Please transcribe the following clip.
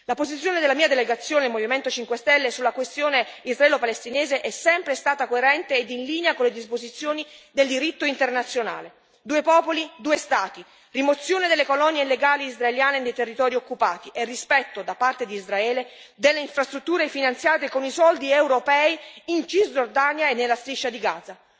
La posizione della mia delegazione, il Movimento 5 Stelle, sulla questione israelo palestinese è sempre stata coerente ed in linea con le disposizioni del diritto internazionale due popoli due Stati, rimozione delle colonie illegali israeliane nei territori occupati e rispetto da parte di Israele delle infrastrutture finanziate con i soldi europei in Cisgiordania e nella Striscia di Gaza.